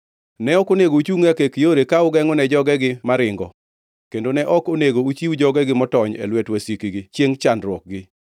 Ne ok onego uchungʼ e akek yore, ka ugengʼone jogegi maringo, kendo ne ok onego uchiw jogegi motony e lwet wasikgi chiengʼ chandruokgi.